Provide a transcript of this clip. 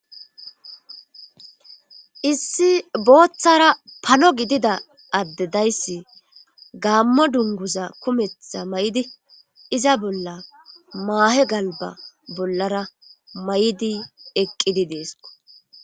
Issi booththara pano gidida adde dayssi gaammo dunguza kumetha may'di iza bolla maahe galba bollara may'idi eqqidi deesko.